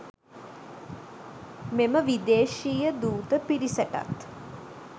මෙම විදේශීය දූත පිරිසටත්